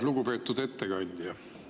Lugupeetud ettekandja!